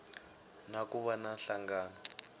na ku va na nhlangano